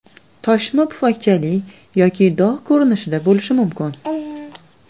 Toshma pufakchali yoki dog‘ ko‘rinishida bo‘lishi mumkin.